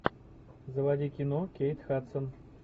заводи кино кейт хадсон